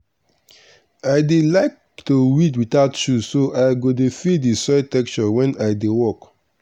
i dey like to weed without shoe so i go dey feel the soil texture wen i dey work.